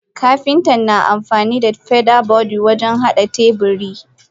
Kapinta na amfanida feather borde wajen hada teburi.